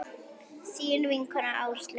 Þín vinkona Áslaug.